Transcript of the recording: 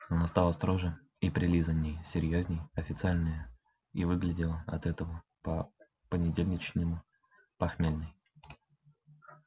она стала строже и прилизанней серьёзней официальнее и выглядела от этого по понедельничному похмельной